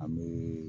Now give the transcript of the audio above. An bɛ